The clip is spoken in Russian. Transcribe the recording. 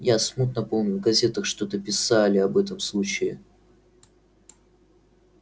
я смутно помню в газетах что-то писали об этом случае